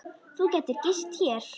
Þú gætir gist hér.